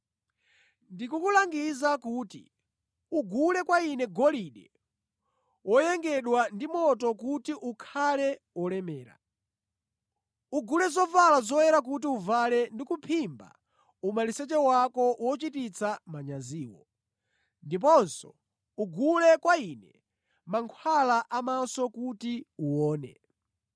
Ndikukulangiza kuti ugule kwa Ine golide woyengedwa ndi moto kuti ukhale wolemera. Ugule zovala zoyera kuti uvale ndi kuphimba umaliseche wako wochititsa manyaziwo. Ndiponso ugule kwa Ine mankhwala a mʼmaso kuti uwone.